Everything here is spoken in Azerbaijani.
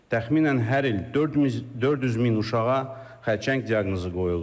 Təxminən hər il 400 min uşağa xərçəng diaqnozu qoyulur.